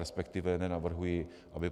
Respektive nenavrhuji, aby